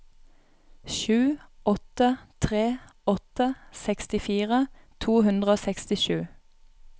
sju åtte tre åtte sekstifire to hundre og sekstisju